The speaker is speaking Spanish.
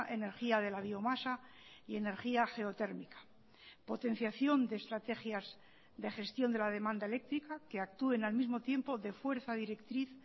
energía de la biomasa y energía geotérmica potenciación de estrategias de gestión de la demanda eléctrica que actúen al mismo tiempo de fuerza directriz